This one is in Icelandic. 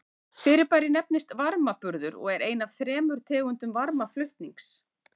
Fyrirbærið nefnist varmaburður og er ein af þremur tegundum varmaflutnings.